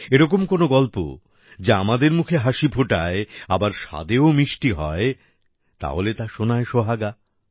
এরকম কোনো গল্প যা আমাদের মুখে হাসি ফোটায় আবার স্বাদেও মিষ্টি হয় তাহলে তো সোনায় সোহাগা